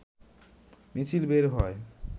মিছিল বের হয়